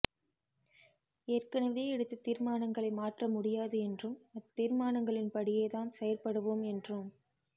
ஏற்கனவே எடுத்த தீர்மானங்களை மாற்ற முடியாது என்றும் அத்தீர்மானங்களின் படியே தாம் செயற்படுவோம் என்றும்